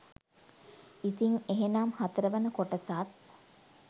ඉතින් එහෙනම් හතරවන කොටසත්